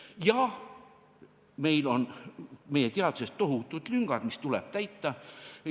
Jaa, meil on meie teaduses tohutud lüngad, mis tuleb täita.